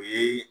O ye